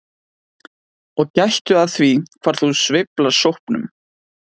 Og gættu að því hvar þú sveifla sópnum.